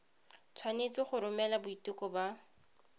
tshwanetse go romela boiteko ba